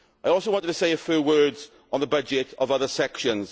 I also wanted to say a few words on the budget of other sections.